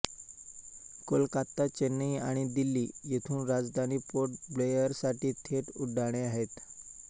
कोलकाता चेन्नई आणि दिल्ली येथून राजधानी पोर्ट ब्लेअरसाठी थेट उड्डाणे आहेत